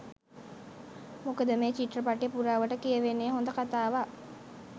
මොකද මේ චිත්‍රපටය පුරාවට කියවෙන්න හොඳ කතාවක්.